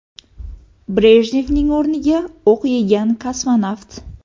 Brejnevning o‘rniga o‘q yegan kosmonavt.